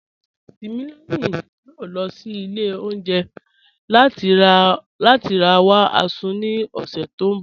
Timílẹyìn yòó lọ sí ilẹ̀ ọ̀unjẹ̀ lati ra wa Azu ni ọṣẹ̀ tó nbọ̀